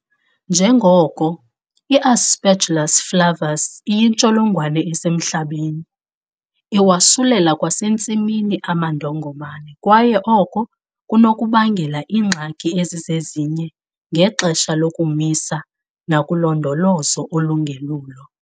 Njengoko iAspergillus flavus iyintsholongwane esemhlabeni, iwasulela kwasentsimini amandongomane kwaye oko kunokubangela iingxaki ezizezinye ngexesha lokomisa nakulondolozo olungelulo.